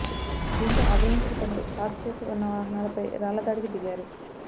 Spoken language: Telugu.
దీంతో ఆగ్రహించిన కొందరు పార్క్ చేసి ఉన్న వాహనాలపై రాళ్ల దాడికి దిగారు